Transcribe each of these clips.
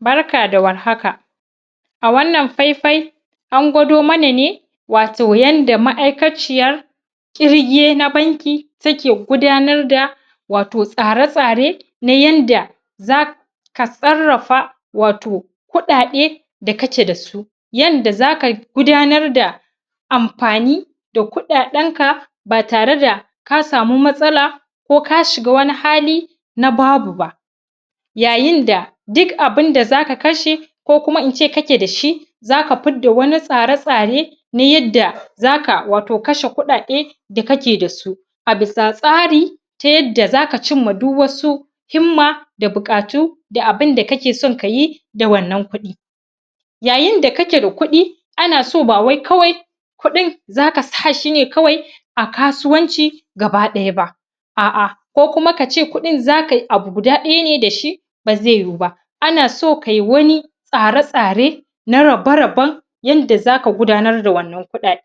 barka da warhaka a wannan faifai an gwado mana ne wato yadda ma'aykaciyar kirge na banki take gudanar da wato tsare tsare na yadda za ka tsarrafa wato kudade da kake da su yanda zaka gudanar da amfani da kudadanka ba tare da ka samu matsala ko ka shiga wani hali na babu ba yayin da duk abin da za ka kashe kokuma ince kake da shi za ka fidda wani tsare-tsare na yadda za ka wato kashe kudade da kake da su a bisa tsari ta yadda za ka cimma duk wasu himma da bukatu da abin da kake so kayi da wannan kudi yayin da kake da kudi ana so bawai kawai kudin za ka sashi ne kawai a kasuwanci gaba dayaba aa'aa ko kuma ka ce kudin za kayi abu guda daya ne da shi ba zai yuyuba ana so kayi wani tsare-tsare na rabe-raben yadda za k gudanar da wannan kudade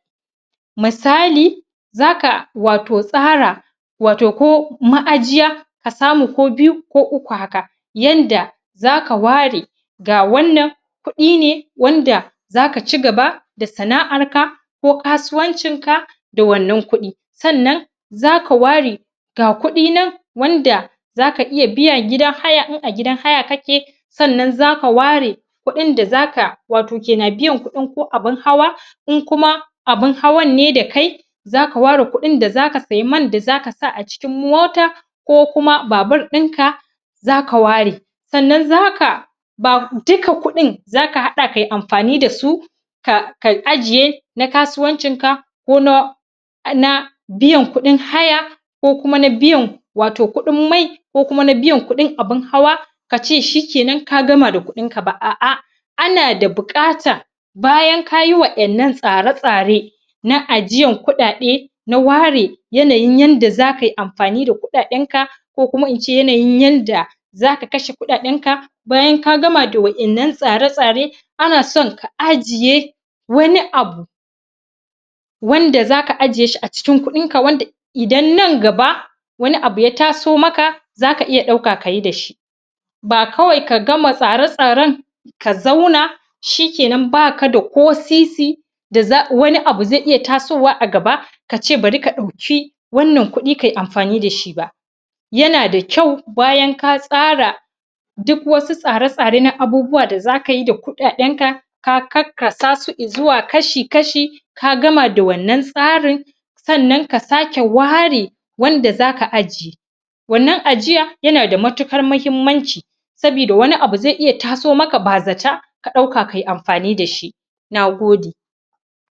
misali wato za ka tsara wato ko ma'ajiya wato ko biyu ko uku haka yanda za ka ware da wannan kudi ne wanda za ka cigaba da sana arka ko kasuwancin ka da wannan kudi sannan za ka ware ga kudi nan wanda za ka iya biyan gidan haya in a gidan haya kake sannan za ka ware kudin da za ka wato kena biyan kudin ko abin hawa in kuma abin hawanne da kai za ka ware kudin da za ka sayi man da za ka sa a cikin mota ko kuma babur dinka za ka ware sannan za ka duka kudin za ka hada kayi amfani da su ka ajjiye na kasuwancinnka ko na biyan kudin haya ko kuma na biyan wato kudin mai ko kuma na biyan kudin abin hawa ka ce shi kenan ka gama da kudinka ba aa'aa ana da bukatar bayan kayi wa'ayan nann tsare-tsare na ajiyan kudade na ware yanayin yadda za kayi amfani da kudaden ka ko ince yanayin yadda za ka kashe kudadenka bayan ka gama da wa'yan nan tsare-tsare ana son ka ajjiye wani abu wanda za ka ajjiye shi a cikin kudinka wanda idan nan gaba wani abu ya taso maka za ka iya dauka ka yi da shi ba kawai ka gama tsare-tsaren ka zauna ka zauna shi kenan baka da ko sisi da wani abu zai iya tasowa a gaba ka ce bari ka dauki wannan kudi kai amfani da shi ba yana da kyau bayan ka tsara dok wasu i tsare-tsare na abubuwa da za kayi da kudaden ka ka karka sa su izuwa kashi-kashi ka gama da wannan tsarin sannan ka sake ware wanda za ka ajjiye wannabn ajiya yana da matukar mahimmanci sabida wabi abu zai iya tasoma ba zata ka dauka kayi amfani da shi na gode